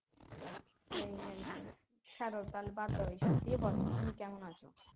সেই আর কি ছাড়ো তাহলে বাদ দেও এইসব দিয়ে বলো তুমি কেমন আছ